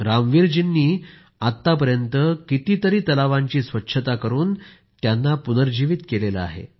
रामवीर जीनी आतापर्यत कितीतरी तलावांची स्वच्छता करून त्यांना पुनर्जिवित केलं आहे